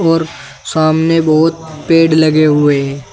और सामने बहुत पेड़ लगे हुए हैं।